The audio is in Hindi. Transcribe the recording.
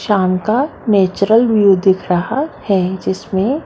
शाम का नेचरल व्यू दिख रहा है जिसमे --